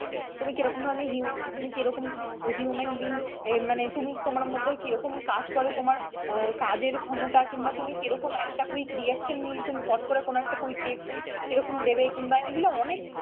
তুমি কিরকম ধরনের human তুমি কীরকম human being মানে তুমি তোমার মধ্যে কিরকম কাজ করে তোমার কাজের ক্ষমতা কিংবা তুমি কিরকম একটা quick reaction নিয়ে একদম ফট করে কোন একটা quick reaction কিরকম দেবে কিংবা এগুলো অনেক,